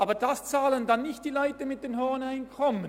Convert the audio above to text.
Dies bezahlen dann aber nicht die Leute mit den hohen Einkommen.